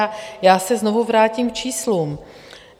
A já se znovu vrátím k číslům.